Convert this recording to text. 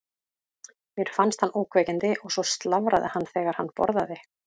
Mér fannst hann ógnvekjandi og svo slafraði hann þegar hann borðaði.